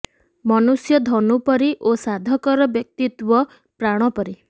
ମନୁଷ୍ୟ ଧନୁ ପରି ଓ ସାଧକର ବ୍ୟକ୍ତିତ୍ୱ ପ୍ରାଣ ପରି